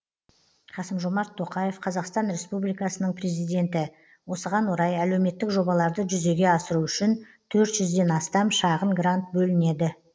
қасым жомарт тоқаев қазақстан республикасының президенті осыған орай әлеуметтік жобаларды жүзеге асыру үшін төрт жүзден астам шағын грант бөлінеді